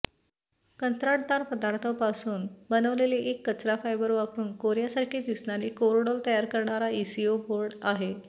कंत्राटदार पदार्थांपासून बनवलेले एक कचरा फायबर वापरून कोर्यासारखे दिसणारे कोरडॉल तयार करणारा ईसीओ बोर्ड आहे